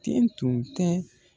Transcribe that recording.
Ten tun tɛ